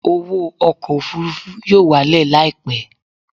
Owó ọkọ̀ òfurufú yóò wálẹ̀ láìpẹ́